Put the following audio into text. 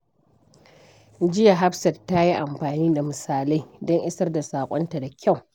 Jiya, Hafsat ta yi amfani da misalai don isar da saƙonta da kyau.